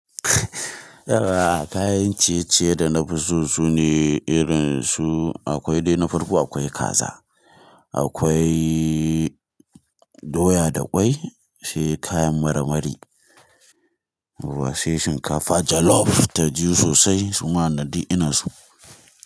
Yara kayan ciye-ciye da na fi so sune irin su akwai dai na farko akwai kaza, akwai doya da kwai, sai kayan marmari, washe shinkafa jollof ta ji sosai suma na ɗi ina su.